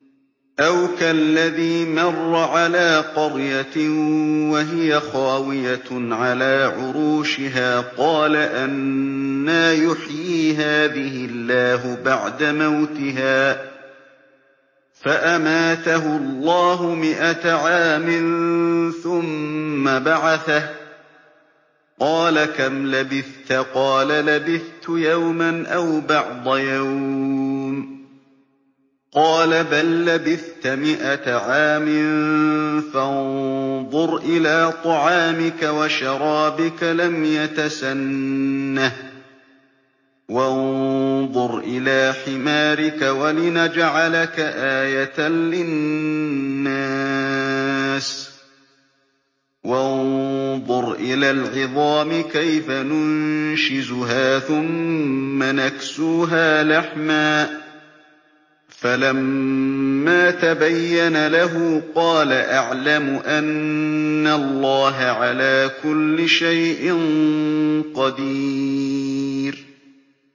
أَوْ كَالَّذِي مَرَّ عَلَىٰ قَرْيَةٍ وَهِيَ خَاوِيَةٌ عَلَىٰ عُرُوشِهَا قَالَ أَنَّىٰ يُحْيِي هَٰذِهِ اللَّهُ بَعْدَ مَوْتِهَا ۖ فَأَمَاتَهُ اللَّهُ مِائَةَ عَامٍ ثُمَّ بَعَثَهُ ۖ قَالَ كَمْ لَبِثْتَ ۖ قَالَ لَبِثْتُ يَوْمًا أَوْ بَعْضَ يَوْمٍ ۖ قَالَ بَل لَّبِثْتَ مِائَةَ عَامٍ فَانظُرْ إِلَىٰ طَعَامِكَ وَشَرَابِكَ لَمْ يَتَسَنَّهْ ۖ وَانظُرْ إِلَىٰ حِمَارِكَ وَلِنَجْعَلَكَ آيَةً لِّلنَّاسِ ۖ وَانظُرْ إِلَى الْعِظَامِ كَيْفَ نُنشِزُهَا ثُمَّ نَكْسُوهَا لَحْمًا ۚ فَلَمَّا تَبَيَّنَ لَهُ قَالَ أَعْلَمُ أَنَّ اللَّهَ عَلَىٰ كُلِّ شَيْءٍ قَدِيرٌ